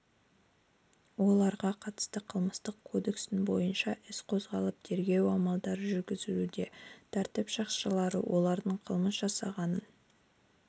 оларға қатысты қылмыстық кодекстің бойынша іс қозғалып тергеу амалдары жүргізілуде тәртіп сақшылары олардың қылмыс жасағанын